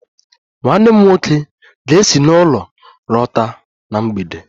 Nwanne m nwoke ga-esi n'ọrụ lọta na mgbede